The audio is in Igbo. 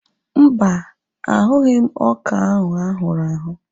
Mba, ahụghị m ọka ahụ ahụrụ ahụ̀